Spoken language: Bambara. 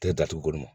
Tɛ datugu